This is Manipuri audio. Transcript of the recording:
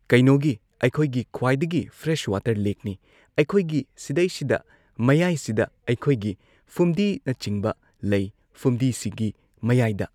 ꯀꯩꯅꯣꯒꯤ ꯑꯩꯈꯣꯏꯒꯤ ꯈ꯭ꯋꯥꯏꯗꯒꯤ ꯐ꯭ꯔꯦꯁ ꯋꯥꯇꯔ ꯂꯦꯛꯅꯤ ꯑꯩꯈꯣꯏꯒꯤ ꯁꯤꯗꯩꯁꯤꯗ ꯃꯌꯥꯏꯁꯤꯗ ꯑꯩꯈꯣꯏꯒꯤ ꯐꯨꯝꯗꯤꯅꯆꯤꯡꯕ ꯂꯩ ꯐꯨꯝꯗꯤꯁꯤꯒꯤ ꯃꯌꯥꯏꯗ